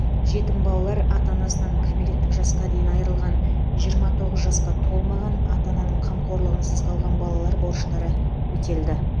жетім балалар ата анасынан кәмелеттік жасқа дейін айрылған жиырма тоғыз жасқа толмаған ата ананың қамқорлығынсыз қалған балалар борыштары өтелді